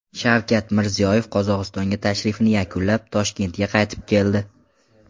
Shavkat Mirziyoyev Qozog‘istonga tashrifini yakunlab, Toshkentga qaytib keldi.